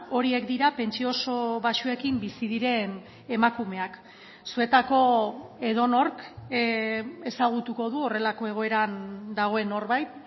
horiek dira pentsio oso baxuekin bizi diren emakumeak zuetako edonork ezagutuko du horrelako egoeran dagoen norbait